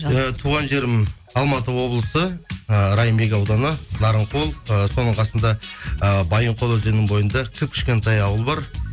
туған жерім алматы облысы ы райымбек ауданы нарынқол ы соның қасында ы байынқол өзенінің бойынша кіп кішкентай ауыл бар